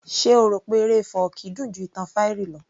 Ṣe o rò pé eré fọ́ọ̀kí dùn ju ìtàn fairy lọ